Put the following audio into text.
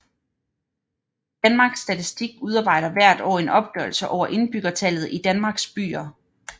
Danmarks Statistik udarbejder hvert år en opgørelse over indbyggertallet i Danmarks byer